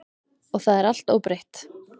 Og það er allt óbreytt.